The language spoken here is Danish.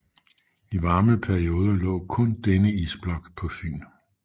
I varme perioder lå kun denne isblok på Fyn